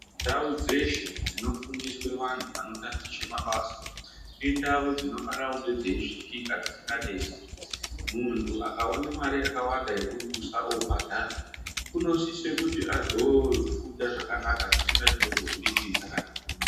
Ndau dzeshe dzino fundiswe vantu vano tatiche mabasa indau dzino fana kunge dzei svikika dzisinga nesi muntu aka one mare yaka wanda yeku dusa obhadhara unosise kuti azo funda zvakanaka zvisina chino muvhiringidza kana ku mudini.